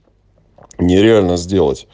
нереально сделать